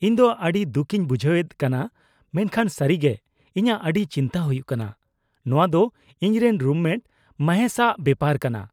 -ᱤᱧ ᱫᱚ ᱟᱹᱰᱤ ᱫᱩᱠᱤᱧ ᱵᱩᱡᱷᱦᱟᱹᱣᱮᱫ ᱠᱟᱱᱟ ᱢᱮᱱᱠᱷᱟᱱ ᱥᱟᱹᱨᱤ ᱜᱮ ᱤᱧᱟᱹᱜ ᱟᱹᱰᱤ ᱪᱤᱱᱛᱟᱹ ᱦᱩᱭᱩᱜ ᱠᱟᱱᱟ ᱾ ᱱᱚᱶᱟ ᱫᱚ ᱤᱧᱨᱮᱱ ᱨᱩᱢᱢᱮᱴ ᱢᱚᱦᱮᱥᱼᱟᱜ ᱵᱮᱯᱟᱨ ᱠᱟᱱᱟ ᱾